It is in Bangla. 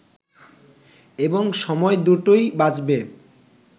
এবং সময় দুটোই বাঁচবে